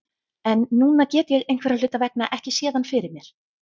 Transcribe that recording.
En núna get ég einhverra hluta vegna ekki séð hann fyrir mér.